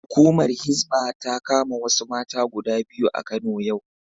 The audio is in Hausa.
Hukumar Hisbah ta kama wasu mata guda biyu a Kano yau.